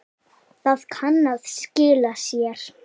Það kann að skila sér.